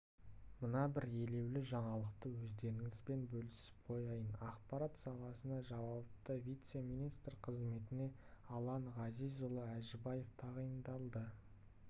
мына бір елеулі жаңалықты өздеріңізбен бөлісіп қояйын ақпарат саласына жауапты вице-министр қызметіне алан ғазизұлы әжібаев тағайындалды